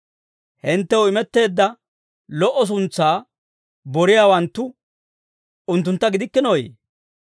Hinttew imetteedda lo"o suntsaa boriyaawanttu unttuntta gidikkinooyee?